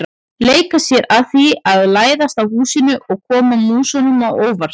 Leika sér að því að læðast að húsinu og koma músunum á óvart.